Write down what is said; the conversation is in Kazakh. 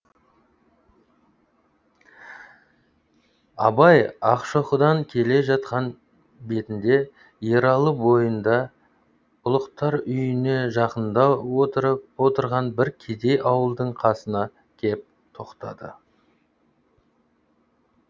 абай ақшоқыдан келе жатқан бетінде ералы бойында ұлықтар үйіне жақындау отырған бір кедей ауылдың қасына кеп тоқтады